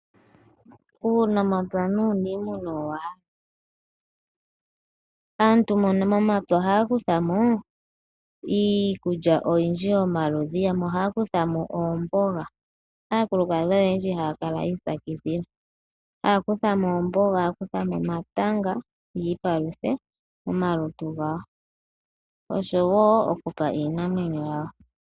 Uunamapya nuunimuna owa, aantu mbono momapya oha kuthamo iikulya oyindji yomaludhi , yamwe oha kuthamo ombonga, aakulukadhi oyendji ha kala yitsakidhila, hakuthamo ombonga, hakuthamo omatanga yipaluthe komaluntu gawo osho wo okupa Iinamwenyo yawo.